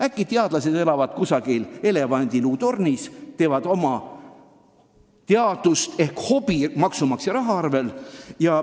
Äkki teadlased elavad kusagil elevandiluutornis, teevad teadust ehk tegelevad oma hobiga maksumaksja arvel.